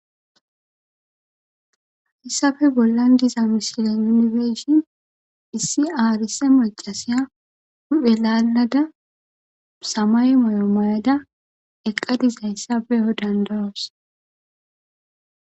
Heysape bollan diza misilen nuni be'ishin issi arsa macasiya hu'e laalada samaye mayo mayada eqada dizaysa be'anawu danda'os.